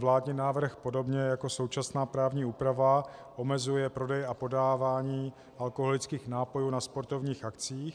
Vládní návrh podobně jako současná právní úprava omezuje prodej a podávání alkoholických nápojů na sportovních akcích.